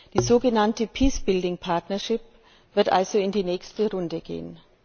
Die sogenannte Peace building Partnership wird also in die nächste Runde gehen.